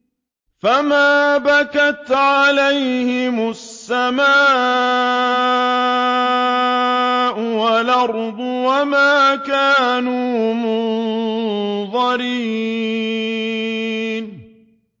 فَمَا بَكَتْ عَلَيْهِمُ السَّمَاءُ وَالْأَرْضُ وَمَا كَانُوا مُنظَرِينَ